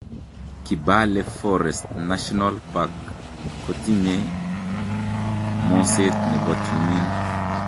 Kibale Forest National Park ko tinyie moset ne bo tumin.